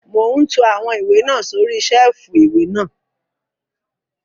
Mò ún to àwọn ìwé náà sórí sẹ́ẹ̀fù ìwé náà